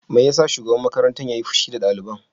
Me yasa shugaban makarantar yayi fushi da daliban?